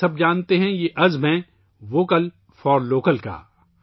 آپ سب جانتے ہیں، یہ عہد ہے ' ووکل فار لوکل ' کا